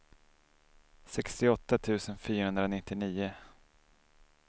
sextioåtta tusen fyrahundranittionio